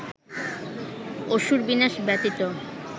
অসুর-বিনাশ ব্যতীত